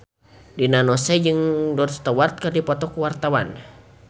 Rina Nose jeung Rod Stewart keur dipoto ku wartawan